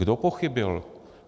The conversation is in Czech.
Kdo pochybil?